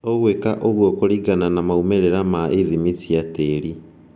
Ũgwika ũguo kũlingana na maumĩrĩra ma ithimi cia tĩri